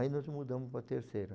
Aí nós mudamos para a terceira.